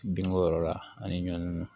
Binko yɔrɔ la ani ɲɔn